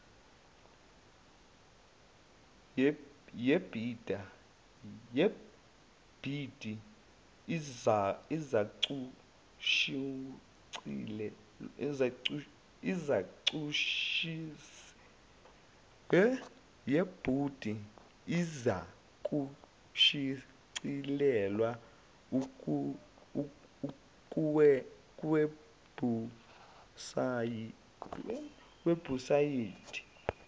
yebhidi izakushicilelwa kuwebhusayidi